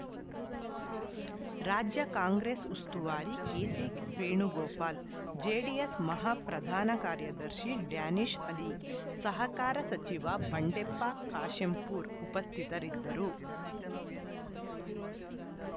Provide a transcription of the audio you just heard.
ರಾಜ್ಯ ಕಾಂಗ್ರೆಸ್‌ ಉಸ್ತುವಾರಿ ಕೆಸಿವೇಣುಗೋಪಾಲ್‌ ಜೆಡಿಎಸ್‌ ಮಹಾಪ್ರಧಾನ ಕಾರ್ಯದರ್ಶಿ ಡ್ಯಾನಿಷ್‌ ಅಲಿ ಸಹಕಾರ ಸಚಿವ ಬಂಡೆಪ್ಪ ಕಾಶೆಂಪೂರ್‌ ಉಪಸ್ಥಿತರಿದ್ದರು